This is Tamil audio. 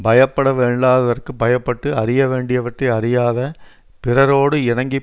பயப்பட வேண்டாததற்குப் பயப்பட்டு அறிய வேண்டியவற்றை அறியாத பிறரோடு இணங்கி